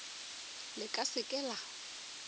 le ka se ke la